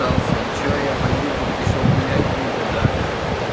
что я пойду тут ещё гулять буду до